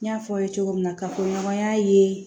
N y'a fɔ aw ye cogo min na kafoɲɔgɔnya ye